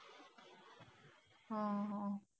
हा हा.